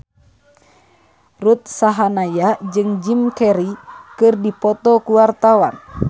Ruth Sahanaya jeung Jim Carey keur dipoto ku wartawan